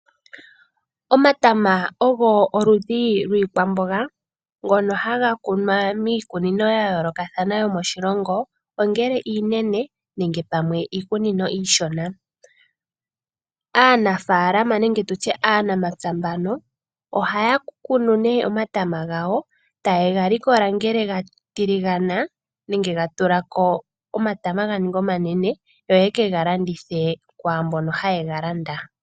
Omatama ogo oludhi lwiikwamboga ngono haga kunwa miikunino ya yoolokathana yomoshilongo ngele iinene nenge pamwe iikunino iishona .Aanafaalama nenge aanamapya mbano ohaya kunu nee omatama gawo taye ga likola ngele gatiligana nenge ga tulako omatama ganinge omanene yo yeke galandithe kwaambono haye ga landa.